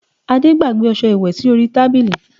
Ade gbàgbé ọsẹ ìwẹ̀ sí orí tábìlì